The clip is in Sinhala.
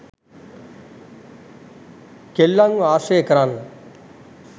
කෙල්ලන්ව ආශ්‍රය කරන්න